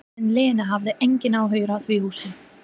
En Lena hafði engan áhuga á því húsi.